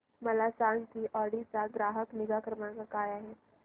मला सांग की ऑडी चा ग्राहक निगा क्रमांक काय आहे